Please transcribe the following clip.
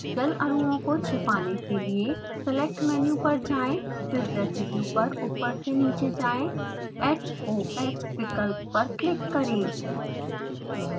जल अणुओं को छिपाने के लिए select मेनू पर जाएँ फिर residue पर ऊपर से नीचे जाएँ hoh विकल्प पर क्लिक करें